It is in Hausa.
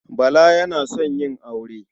Bala yana son yin aure.